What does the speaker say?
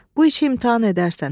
Bu işi imtahan edərsən.